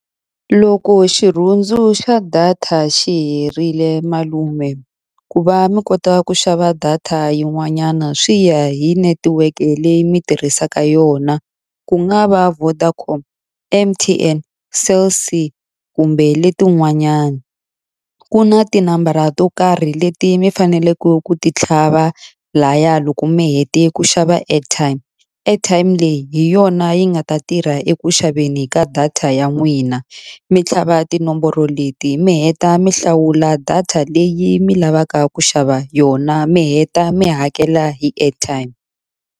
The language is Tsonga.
Loko xirhundzu xa data xi herile malume, ku va mi kota ku xava data yin'wanyana swi ya hi netiweke leyi mi tirhisaka yona. Ku nga va Vodacom, M_T_N, Cell C, kumbe letin'wanyana. Ku na tinambara to karhi leti mi faneleke ku ti tlhava lahaya loko mi hete ku xava airtime. Airtime leyi hi yona yi nga ta tirha eku xaveni ka data ya n'wina. Mi tlhava tinomboro leti mi heta mi hlawula data leyi mi lavaka ku xava yona, mi heta mi hakela hi airtime.